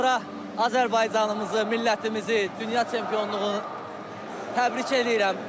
Sonra Azərbaycanımızı, millətimizi dünya çempionluğu təbrik eləyirəm.